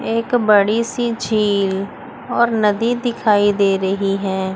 एक बड़ी सी झील और नदी दिखाई दे रही हैं।